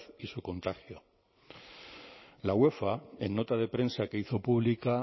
y su contagio la uefa en nota de prensa que hizo pública